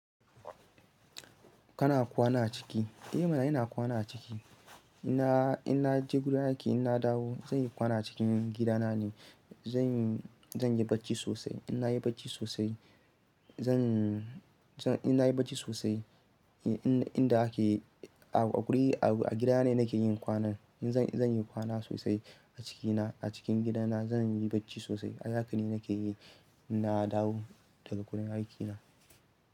Kana kwana a ciki? Eh mana ina kwana ciki. In na, in na je gurin aiki in na dawo zan yi kwana cikin gidana ne. Zan, zan yi bacci sosai. In na yi bacci sosai zan, zan in na yi bacci sosai. In, in da ake a, a guri, a gida ne nake yin kwanan. In zan, zan yi kwana sosai a cikina, a cikin gidana zan yi bacci sosai. Hazakani nake yi in na dawo daga gurin aikina.